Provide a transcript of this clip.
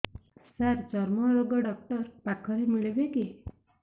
ସାର ଚର୍ମରୋଗ ଡକ୍ଟର ପାଖରେ ମିଳିବେ କି